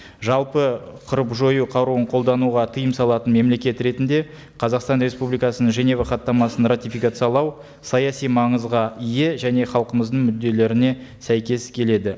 жалпы қырып жою қаруын қолдануға тыйым салатын мемлекет ретінде қазақстан республикасының женева хаттамасын ратификациялау саяси маңызға ие және халқымыздың мүдделеріне сәйкес келеді